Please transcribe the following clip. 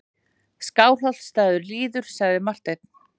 Skálholtsstaður líður, sagði Marteinn.